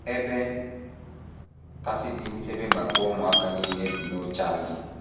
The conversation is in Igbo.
Ebe kasị dị nchebe maka ụmụaka nile bụ n’oche azụ.